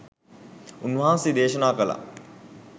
උන්වහන්සේ දේශනා කළා